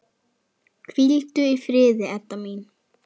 Hvíldu í friði, Edda mín.